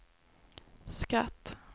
skratt